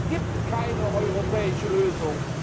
Es gibt keine europäische Lösung.